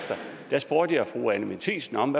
spurgte jeg fru anni matthiesen om